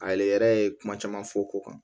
Ale yɛrɛ yɛrɛ ye kuma caman fɔ ko kan